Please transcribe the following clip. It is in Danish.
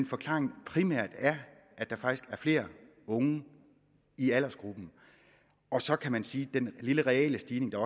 forklaringen primært er at der faktisk er flere unge i aldersgruppen og så kan man sige at den lille reelle stigning der